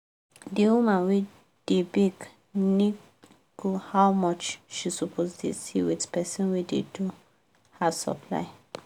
d woman wey da bake nego how much she suppose da see with person wey da do her supply